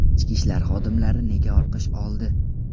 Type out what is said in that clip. Ichki ishlar xodimlari nega olqish oldi?